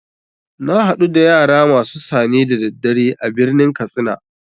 Na hadu da yara masu sane da daddare a birnin katsina.